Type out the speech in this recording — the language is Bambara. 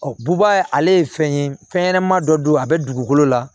buba ale ye fɛn ye fɛn ɲɛnama dɔ don a bɛ dugukolo la